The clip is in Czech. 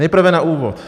Nejprve na úvod.